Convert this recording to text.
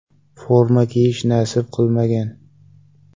Forma kiyish nasib qilmagan.